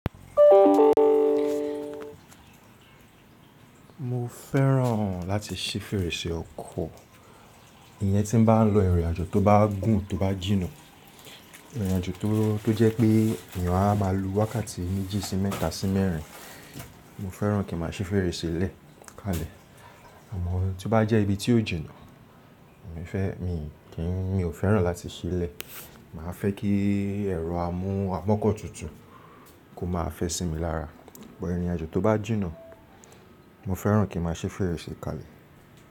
Mo fẹ́ràn láti sí fèrèsé ọkọ̀. Iyẹn tí m bá ń lọ ìrìnàjò tó bá gùn tó bá jìnnà. Ìrìnàjò tó jẹ́ pé èèyàn á máa lu wákàtí méjì sí mẹ́ta sí mẹ́rin, mo fẹ́ràn kí n máa sí fèrèsé lẹ̀ kalẹ̀. Àmọ́ tí ó bá jẹ́ ibi tí ó jìnnà, mi ò fẹ́ràn láti ṣí le Màá fẹ́ kí ẹ̀rọ amú àmọ́kọ́ tútù kó máa fẹ́ sí mi lára. Bọ ìrìnàjò tó bá jìnnà, mo fẹ́ràn kí n máa ṣí fèrèsé kalẹ̀.